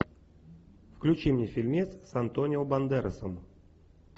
включи мне фильмец с антонио бандерасом